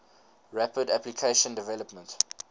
rapid application development